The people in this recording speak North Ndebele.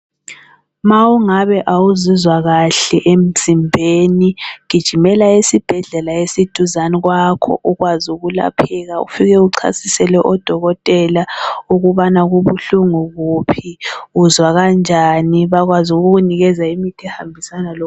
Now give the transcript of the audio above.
Ma ungabe awuzizwa kahle emzimbeni, gijimela esibhedlela esiduzani kwakho, ukwazi ukulapheka, ufike uchasisele odokotela ukubana kubuhlungu kuphi, uzwa kanjani bakwaz' ukukunikeza imithi ehambisana lo...